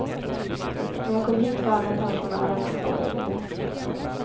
När jag kom hit var alla pensionärerna kvar därinne.